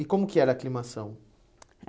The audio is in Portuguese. E como que era a climação?